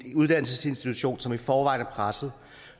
en uddannelsesinstitution som i forvejen er presset